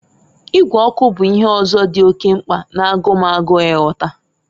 Ịgwe ọkụ bụ ihe ọzọ dị oke mkpa na-agụ m agụụ igota.